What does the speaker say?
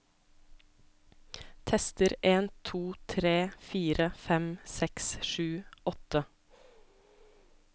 Tester en to tre fire fem seks sju åtte